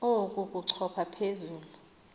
oku kochopha phezu